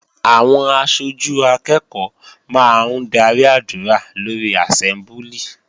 Àwọn aṣojú akẹ́ẹ̀kọ́ máa ń darí àdúrà lórí àsẹ́mbúlì